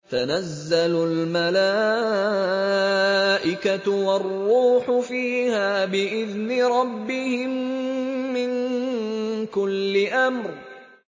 تَنَزَّلُ الْمَلَائِكَةُ وَالرُّوحُ فِيهَا بِإِذْنِ رَبِّهِم مِّن كُلِّ أَمْرٍ